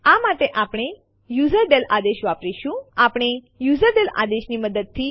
આ આદેશ test dir directory માંથી ફાઈલ faqટીએક્સટી ને રદ કરશે